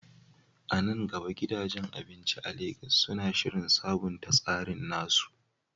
A nan gaba, gidajen abinci a Legas suna shirin sabunta tsarin nasu?